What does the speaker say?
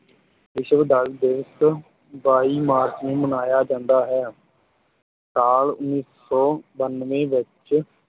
ਵਿਸ਼ਵ ਜਲ ਦਿਵਸ ਬਾਈ ਮਾਰਚ ਨੂੰ ਮਨਾਇਆ ਜਾਂਦਾ ਹੈ ਸਾਲ ਉੱਨੀ ਸੌ ਬਾਨਵੇਂ ਵਿੱਚ